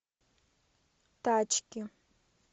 тачки